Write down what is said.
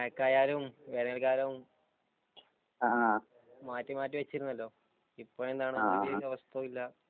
മഴക്കാലമായാലും വേനല്ക്കാലമായാലും മാറ്റി മാറ്റി വച്ചിരുന്നല്ലോ ഇപ്പോഴെന്താണ്